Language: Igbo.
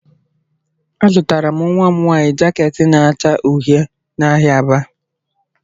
Azụtara m nwa m nwanyị jaket na-acha uhie n'ahịa Aba.